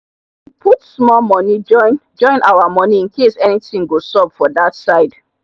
we put small money join join our money incase anything go sup for that side